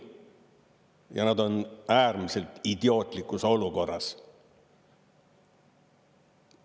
Ja nad on äärmiselt idiootlikus olukorras.